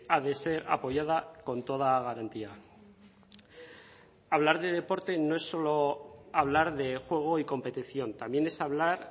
ha de ser apoyada con toda garantía hablar de deporte no es solo hablar de juego y competición también es hablar